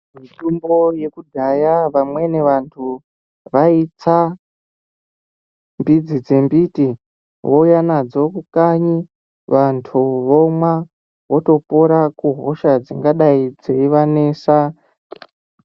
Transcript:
Mitombo yekudhaya vamweni vanthu vaitsa midzi dzembiti vouya nadzo kanyi vanthu vomwa votopora kuhosha dzingadai dzeivanesa.